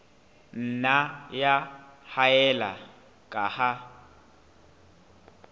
nna ya haella ka ha